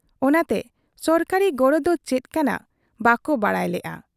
ᱚᱱᱟᱛᱮ ᱥᱚᱨᱠᱟᱨᱤ ᱜᱚᱲᱚ ᱫᱚ ᱪᱮᱫ ᱠᱟᱱᱟ ᱵᱟᱠᱚ ᱵᱟᱰᱟᱭ ᱞᱮᱜ ᱟ ᱾